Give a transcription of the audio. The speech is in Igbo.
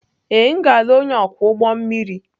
Ee, m ga-alụ onye ọkwọ ụgbọ mmiri.